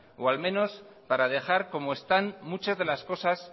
o al menos para dejar como están muchas de las cosas